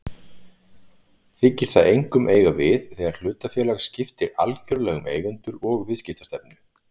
Þykir það einkum eiga við þegar hlutafélag skiptir algjörlega um eigendur og viðskiptastefnu.